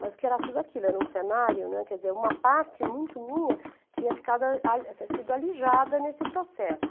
Mas o que era tudo aquilo, era um cenário, né, quer dizer, uma parte muito minha tinha ficado ale se sido alijada nesse processo.